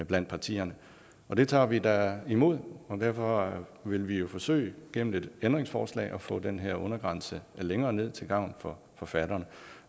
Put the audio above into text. blandt partierne og det tager vi da imod derfor vil vi jo forsøge gennem et ændringsforslag at få den her undergrænse længere ned til gavn for forfatterne